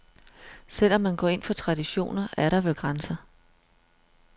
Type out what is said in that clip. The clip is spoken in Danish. Selv om man går ind for traditioner, er der vel grænser.